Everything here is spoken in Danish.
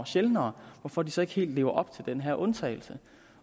sjældnere hvorfor de så ikke helt lever op til den her undtagelse